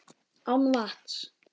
Án vatns.